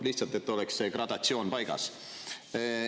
Lihtsalt, et oleks see gradatsioon paigas.